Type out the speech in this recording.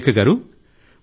సురేఖ గారూ